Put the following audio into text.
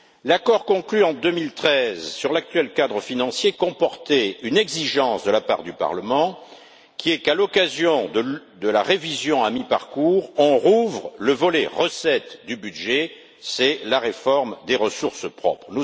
L'accord conclu en 2013 sur l'actuel cadre financier comportait une exigence de la part du Parlement qui est qu'à l'occasion de la révision à mi-parcours, on rouvre le volet recettes du budget c'est la réforme des ressources propres.